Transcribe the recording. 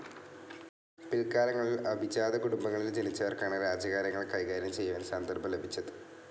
പില്ക്കാലങ്ങളിൽ അഭിജാത കുടുംബങ്ങളിൽ ജനിച്ചവർക്കാണ് രാജ്യകാര്യങ്ങൾ കൈകാര്യം ചെയ്യുവാൻ സന്ദർഭം ലഭിച്ചത്.